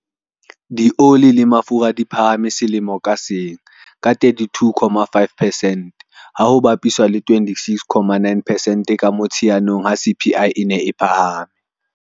Dioli le mafura di phahame selemo ka seng ka 32.5 percent, ha ho bapiswa le 26.9 percent ka Motsheanong ha CPI e ne e phahama.